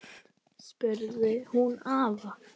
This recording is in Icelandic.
spurði hún afa.